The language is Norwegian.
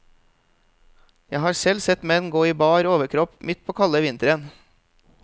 Jeg har selv sett menn gå i bar overkropp midt på kalde vinteren.